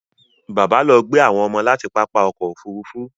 Bàbá lọ gbé àwọn ọmọ láti pápá ọkọ̀ Òfurufú